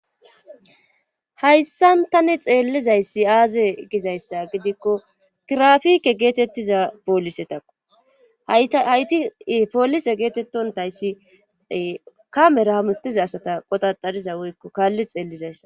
Hayssan tane xeellizayssi aaze gizayssa gidikko kirafike geetettiza poolise takko haytii poolise geetettontayssi kamera hamutiza asata qodaxariza woykko kaalli xeellizayssa.